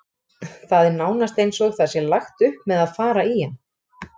Það er nánast eins og það sé lagt upp með að fara í hann.